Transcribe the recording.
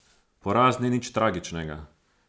Poraz ni nič tragičnega.